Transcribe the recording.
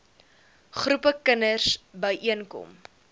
groepe kinders byeenkom